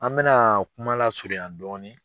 An bɛna kuma lasurunya dɔɔnin.